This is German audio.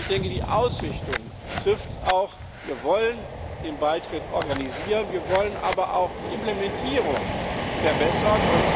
Ich denke, die Ausrichtung trifft es auch Wir wollen den Beitritt organisieren, wir wollen aber auch die Implementierung verbessern.